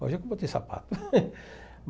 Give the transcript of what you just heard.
Hoje é que eu botei sapato.